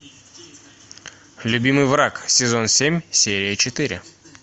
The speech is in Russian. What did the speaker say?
любимый враг сезон семь серия четыре